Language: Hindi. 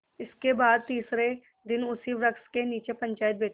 इसके बाद तीसरे दिन उसी वृक्ष के नीचे पंचायत बैठी